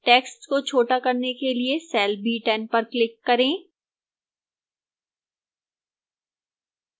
text को छोटा करने के लिए cell b10 पर click करें